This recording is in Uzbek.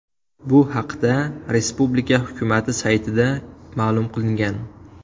Bu haqda respublika hukumati saytida ma’lum qilingan .